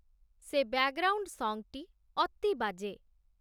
ସେ ବ୍ୟାକ୍‌ଗ୍ରାଉଣ୍ଡ୍‌ ସଙ୍ଗ୍‌ଟି ଅତି ବାଜେ